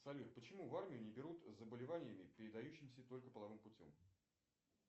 салют почему в армию не берут с заболеваниями передающимися только половым путем